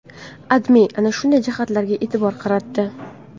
AdMe ana shunday jihatlarga e’tibor qaratdi .